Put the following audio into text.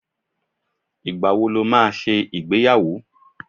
Ìgbàwo ló máa ṣe ìgbéyàwó?